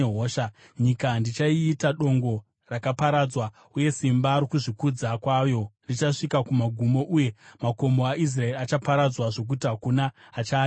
Nyika ndichaiita dongo rakaparadzwa, uye simba rokuzvikudza kwayo richasvika kumagumo, uye makomo aIsraeri achaparadzwa zvokuti hakuna achaadarika.